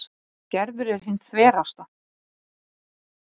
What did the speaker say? En Gerður er hin þverasta.